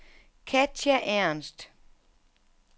Katja Ernst